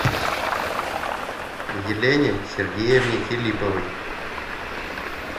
елене сергеевне филипповой